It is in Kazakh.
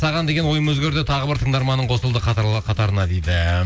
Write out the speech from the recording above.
саған деген ойым өзгерді тағы бір тыңдарманың қосылды қатарына дейді